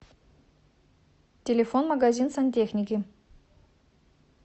телефон магазин сантехники